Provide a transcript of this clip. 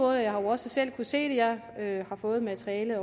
og jeg har også selv kunnet se det jeg har fået materialet